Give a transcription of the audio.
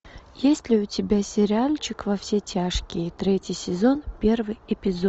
есть ли у тебя сериальчик во все тяжкие третий сезон первый эпизод